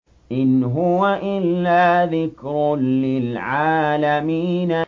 إِنْ هُوَ إِلَّا ذِكْرٌ لِّلْعَالَمِينَ